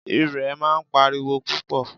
Irẹ̀ máa ń pa ariwo púpọ̀.